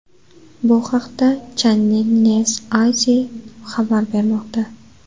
Bu haqda Channel NewsAsia xabar bermoqda .